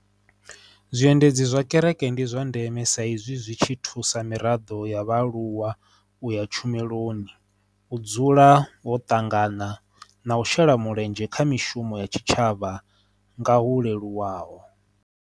Zwiendedzi zwa kereke ndi zwa ndeme sa izwi zwi tshi thusa miraḓo ya vhaaluwa u ya tshumelo, u dzula ho ṱangana na u shela mulenzhe kha mishumo ya tshitshavha nga hu leluwaho.